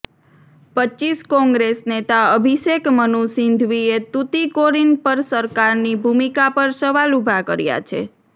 રપ કોંગ્રેસ નેતા અભિષેક મનુ સિંધવીએ તુતીકોરીન પર સરકારની ભૂમિકા પર સવાલ ઊભા કર્યા છે